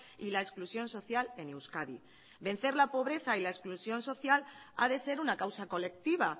y la exclusión social en euskadi vencer la pobreza y la exclusión social ha de ser una causa colectiva